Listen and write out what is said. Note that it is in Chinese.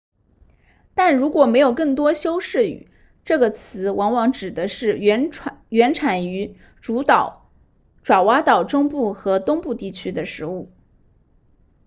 但如果没有更多修饰语这个词往往指的是原产于主岛爪哇岛中部和东部地区的食物